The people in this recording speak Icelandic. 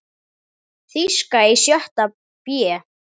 Þýska í sjötta bé.